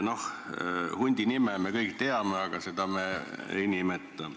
Noh, hundi nime me kõik teame, aga seda me ei nimeta.